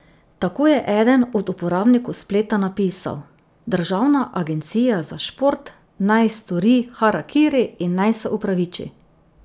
Tako je eden od uporabnikov spleta napisal: 'Državna agencija za šport naj stori harakiri in naj se opraviči'.